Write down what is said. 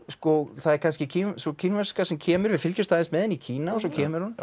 það er kannski sú kínverska sem kemur við fylgjumst aðeins með henni í Kína og svo kemur hún